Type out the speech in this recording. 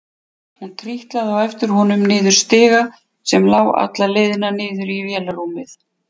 Hún trítlaði á eftir honum niður stiga sem lá alla leið niður í vélarrúmið.